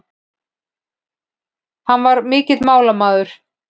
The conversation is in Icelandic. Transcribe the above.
Hann var mikill málamaður.